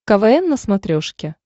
квн на смотрешке